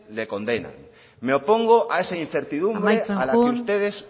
le condenan me opongo a esa incertidumbre a la que ustedes